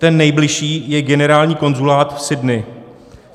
Ten nejbližší je generální konzulát v Sydney.